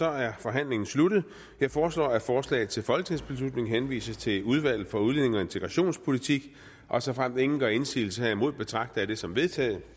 er forhandlingen sluttet jeg foreslår at forslaget til folketingsbeslutning henvises til udvalget for udlændinge og integrationspolitik og såfremt ingen gør indsigelse betragter jeg det som vedtaget